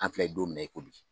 An filɛ ye don min na i ko bi